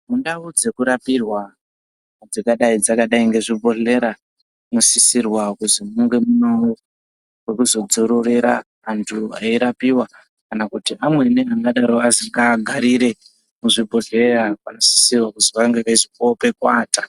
Mundau dzekurapirwa dzingadai dzakadai ngezvibhedhlera munosisirwe kunge muine pekuzodzororera antu eirapiwa kana kuti amweni angadaro azwi ngaagarire muzvibhedhlera vanosise kunge veizopiwawo pokuata.